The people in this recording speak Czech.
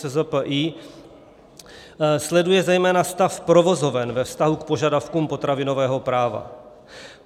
SZPI sleduje zejména stav provozoven ve vztahu k požadavkům potravinového práva.